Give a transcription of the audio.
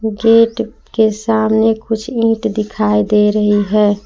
Gate के सामने कुछ ईंट दिखाई दे रही है।